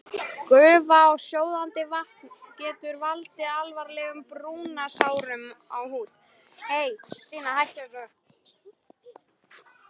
Gufa og sjóðandi vatn getur valdið alvarlegum brunasárum á húð.